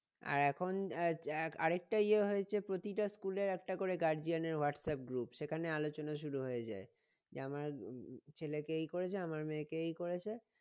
আর এখন আরেকটা ইয়ে হয় যে প্রতিটা school এর একটা করে guardian এর হোয়াটসআপ group সেখানে আলোচনা শুরু হয়ে যাই যে আমার উম উম ছেলেকে এই করেছে আমার মেয়েকে এই করেছে